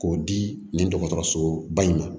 K'o di nin dɔgɔtɔrɔso ba in ma